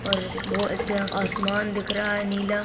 और बहोत अच्छा आसमान दिख रहा है नीला--